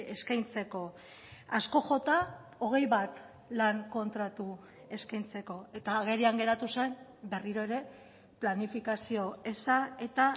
eskaintzeko asko jota hogei bat lan kontratu eskaintzeko eta agerian geratu zen berriro ere planifikazio eza eta